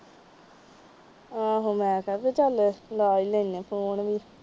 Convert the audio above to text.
ਆਹੋ ਲਾਤਾ, ਵੀ ਚੱਲ ਲੈ ਈ ਲੈਣੇ ਫੋਨ ਵੀ।